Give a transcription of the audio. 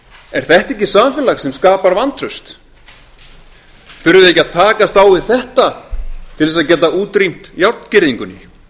er þetta ekki samfélag sem skapar vantraust þurfum við ekki að takast á við þetta til þess að geta útrýmt járngirðingunni tilviljanakenndur árangur